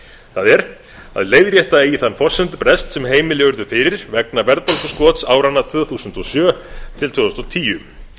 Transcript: það er að leiðrétta eigi þann forsendubrest sem heimili urðu fyrir vegna verðbólguskots áranna tvö þúsund og sjö til tvö þúsund og tíu